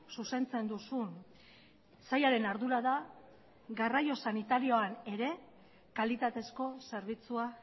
zuzentzen duzun sailaren ardura da garraio sanitarioan ere kalitatezko zerbitzua